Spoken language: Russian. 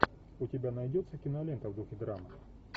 у тебя найдется кинолента в духе драма